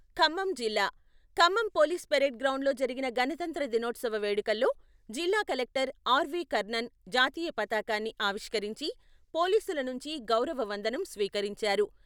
ఖమ్మం జిల్లా Khammam police parade గ్రౌండ్లో జరిగిన గణతంత్ర దినోత్సవ వేడుకల్లో జిల్లా కలెక్టర్ ఆర్వీ కర్ణన్ జాతీయ పతాకాన్ని ఆవిష్కరించి, పోలీసుల నుంచి గౌరవ వందనం స్వీకరించారు.